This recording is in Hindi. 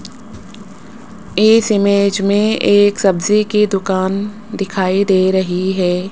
इस इमेज में एक सब्जी की दुकान दिखाई दे रही है।